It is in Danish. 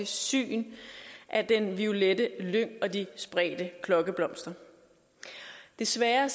syn af den violette lyng og de spredte klokkeblomster desværre